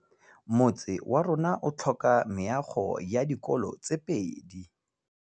Motse warona o tlhoka meago ya dikolô tse pedi.